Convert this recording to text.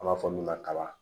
An b'a fɔ min ma kaba